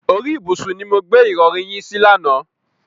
Orí ìbùsùn ni mo gbé ìrọ̀rí yín sí lánàá.